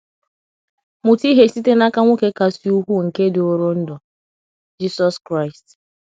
Mụta ihe site n’aka nwoke kasị ukwuu nke dịworo ndụ — Jisọs Kraịst.